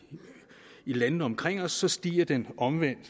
landene omkring os stiger den omvendt